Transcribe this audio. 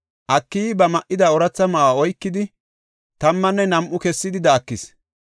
Akiyi ba ma77ida ooratha ma7uwa oykidi, tammanne nam7a kessidi daakis.